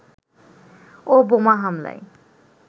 ও বোমা হামলায়